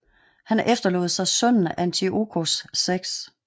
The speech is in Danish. Han efterlod sig sønnen Antiochos 6